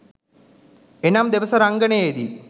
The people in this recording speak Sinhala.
එනම් දෙබස රංගනයේදී